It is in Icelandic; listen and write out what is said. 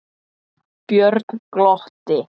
Björn glotti.